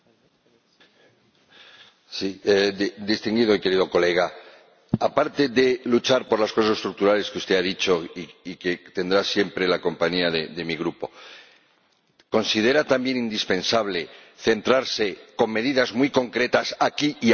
Distinguido y querido colega, aparte de luchar por las cosas estructurales que usted ha dicho y para lo que tendrá siempre la compañía de mi Grupo, ¿considera también indispensable centrarse, con medidas muy concretas aquí y ahora, en los pobres que tenemos, para aliviar,